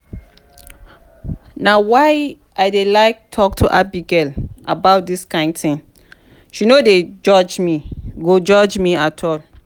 na why i dey like talk to abigail about dis kyn thing she no go judge me go judge me at all